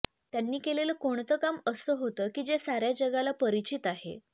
त्यांनी केलेलं कोणतं काम असं होतं की जे साऱ्या जगाला परिचित आहे